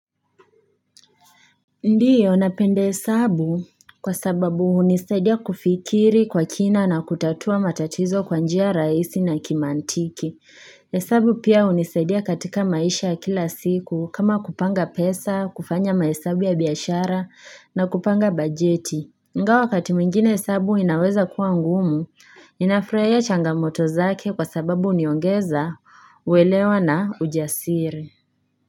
Ndio, napende hesabu kwa sababu unisadia kufikiri kwa kina na kutatua matatizo kwa njia rahisi na kimantiki. Hesabu pia unisadia katika maisha kila siku kama kupanga pesa, kufanya mahesabu ya biashara na kupanga bajeti. Ingawa wakati mwingine hesabu inaweza kuwa ngumu, ninafurahia changamoto zake kwa sababu uniongeza uelewa na ujasiri.